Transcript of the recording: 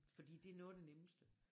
Fordi det noget af det nemmeste